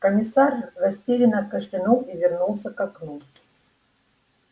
комиссар растерянно кашлянул и вернулся к окну